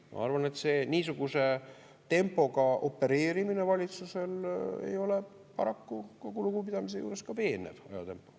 Ma arvan, et see niisuguse tempoga opereerimine valitsusel ei ole paraku, kogu lugupidamise juures, ka veenev.